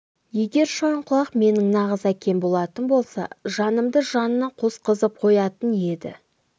егер шойынқұлақ менің нағыз әкем болатын болса жанымды жанына қосқызып қоятын еді